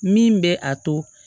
Min bɛ a to